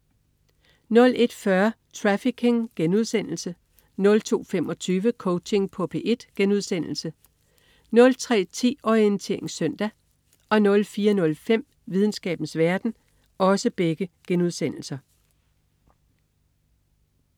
01.40 Trafficking* 02.25 Coaching på P1* 03.10 Orientering søndag* 04.05 Videnskabens verden*